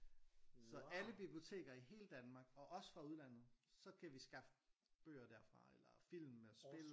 Så alle biblioteker i hele Danmark og også fra udlandet så kan vi skaffe bøger derfra eller film og spil eller